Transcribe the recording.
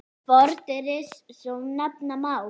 Fordyri svo nefna má.